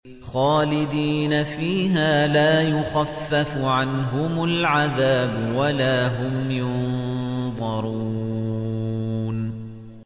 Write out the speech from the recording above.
خَالِدِينَ فِيهَا لَا يُخَفَّفُ عَنْهُمُ الْعَذَابُ وَلَا هُمْ يُنظَرُونَ